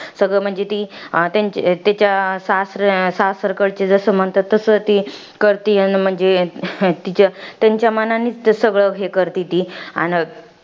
सगळं म्हणजे ती, त्यांच्या तिच्या सासऱ्या सासरकडच्या जसं म्हणतात तसं ती, करते. अन म्हणजे, तिच्या त्यांच्या मनानीच ते सगळं हे करते ती. अन